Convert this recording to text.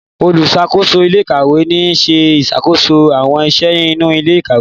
oluṣakoso ilé ìkàwé ní ṣe ìṣàkóso àwọn iṣẹ inú ilé ìkàwé.